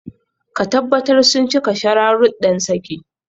Ka tabbatar sun cika shararuddan saki.